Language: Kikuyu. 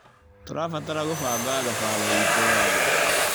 Tũrabatara gũbanga thabarĩ itũ wega.